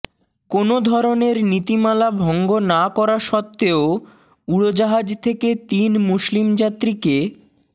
কোনো ধরনের নীতিমালা ভঙ্গ না করা সত্ত্বেও উড়োজাহাজ থেকে তিন মুসলিম যাত্রীকে